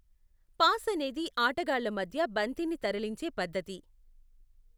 Pass అనేది ఆటగాళ్ల మధ్య బంతిని తరలించే పద్ధతి.